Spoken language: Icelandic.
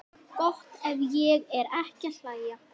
Gott ef ég fer ekki að hlæja.